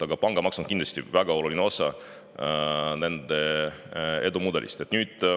Aga pangamaks on kindlasti väga oluline osa nende edumudelist.